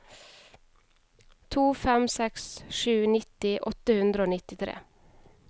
to fem seks sju nitti åtte hundre og nittitre